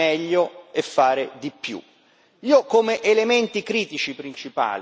Io come elementi critici principali individuo i seguenti.